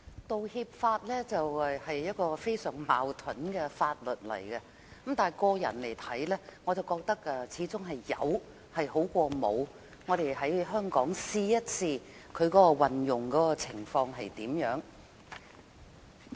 《道歉條例草案》是一項非常矛盾的法例，但以我個人來看，我始終覺得有比沒有的好，我們要看看在香港落實的情況如何。